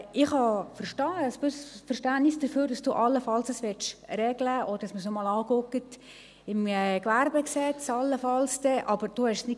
Ich habe ein gewisses Verständnis dafür, dass Grossrat Grivel dies allenfalls regeln möchte und dass man es dann allenfalls noch einmal im Gesetz über Handel und Gewerbe (HGG) anschaut.